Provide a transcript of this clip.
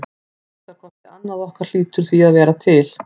Að minnsta kosti annað okkar hlýtur því að vera til.